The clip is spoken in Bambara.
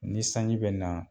Ni sanji bɛ na